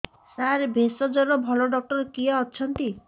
ସାର ଭେଷଜର ଭଲ ଡକ୍ଟର କିଏ ଅଛନ୍ତି